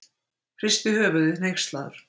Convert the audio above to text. Hristi höfuðið, hneykslaður.